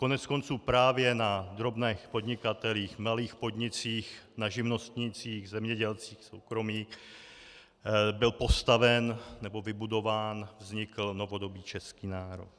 Koneckonců právě na drobných podnikatelích, malých podnicích, na živnostnících, zemědělcích soukromých byl postaven nebo vybudován, vznikl novodobý český národ.